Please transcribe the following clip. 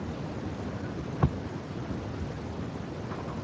sagði hann og benti á ljóst ský á himninum.